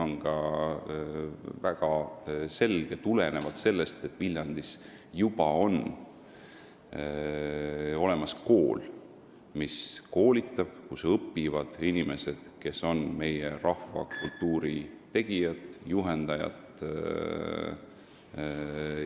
Nimelt, seal on juba olemas kool, kus õpivad inimesed, kes on meie rahvakultuuri tegijad ja juhendajad.